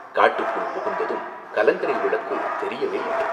காட்டுக்குள் புகுந்ததும் கலங்கரை விளக்கு தெரியவேயில்லை.